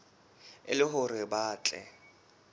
e le hore ba tle